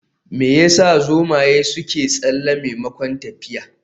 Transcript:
Me yasa zomaye suke tsalle maimakon tafiya?